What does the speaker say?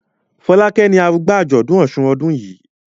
Folake ní arugba ajọdun òsùn ọdún yí.